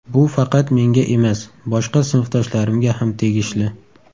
Bu faqat menga emas, boshqa sinfdoshlarimga ham tegishli.